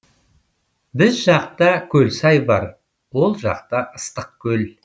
біз жақта көлсай бар ол жақта ыстықкөл